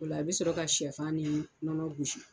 O la i bɛ sɔrɔ ka shɛfan ni nɔnɔ gosi.